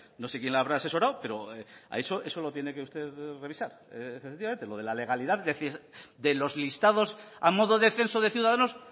no sé quién le habrá asesorado pero eso lo tiene que usted revisar efectivamente lo de la legalidad es decir de los listados a modo de censo de ciudadanos